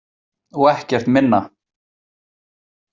Og ekkert minna.